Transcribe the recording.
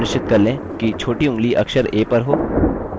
यह सुनिश्चित कर लें कि छोटी ऊँगली अक्षर a पर हो